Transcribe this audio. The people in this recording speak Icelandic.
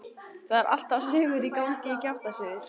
Það eru alltaf sögur í gangi, kjaftasögur.